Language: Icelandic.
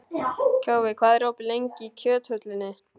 Kjói, hvað er opið lengi í Kjöthöllinni?